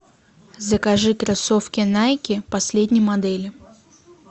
закажи кроссовки найки последней модели